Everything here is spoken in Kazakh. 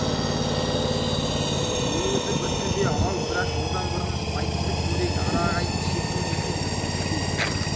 ол өзі бір төбе ал бірақ одан бұрын айтысып көрейік ара ағайын кішекең екен біз кіріспей